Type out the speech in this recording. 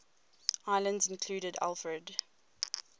islands included alfred